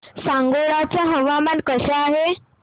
सांगोळा चं हवामान कसं आहे